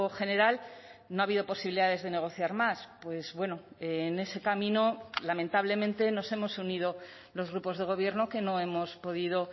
general no ha habido posibilidades de negociar más pues bueno en ese camino lamentablemente nos hemos unido los grupos de gobierno que no hemos podido